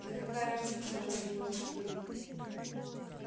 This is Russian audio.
да какая разница раз его раскрыли